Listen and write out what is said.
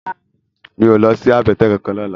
Mi ó lòsi àbètè kánkán lòlá